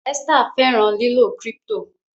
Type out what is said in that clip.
Esther fẹran lilọ crypto